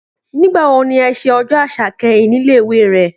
Nígbà wo ni ẹ ṣe Ọjọ́ Àṣà kẹ́yìn nílé ìwé rẹ?